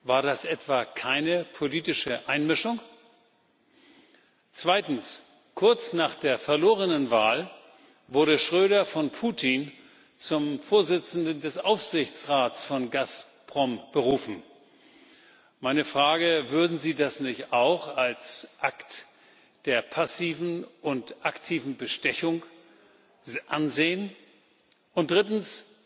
War das etwa keine politische Einmischung? Zweitens Kurz nach der verlorenen Wahl wurde Schröder von Putin zum Vorsitzenden des Aufsichtsrats von Gazprom berufen. Meine Frage Würden Sie das nicht auch als Akt der passiven und aktiven Bestechung ansehen? Und drittens